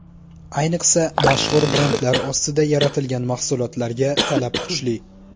Ayniqsa, mashhur brendlar ostida yaratilgan mahsulotlarga talab kuchli.